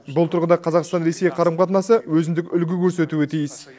бұл тұрғыда қазақстан ресей қарым қатынасы өзіндік үлгі көрсетуі тиіс